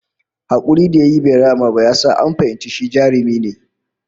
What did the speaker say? Hakurin da yayi bai rama ba ya sa an fahimci shi jarumi ne